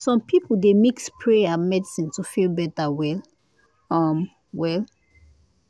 some people dey mix prayer and medicine to feel better well um well